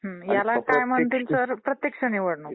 हां ह्याला काय म्हणतात सर, प्रत्यक्ष निवडणूक.